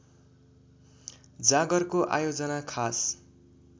जागरको आयोजना खास